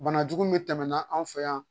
Bana jugu min tɛmɛna an fɛ yan